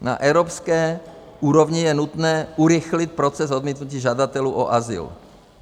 Na evropské úrovni je nutné urychlit proces odmítnutí žadatelů o azyl.